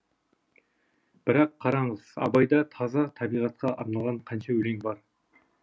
бірақ қараңыз абайда таза табиғатқа арналған қанша өлең бар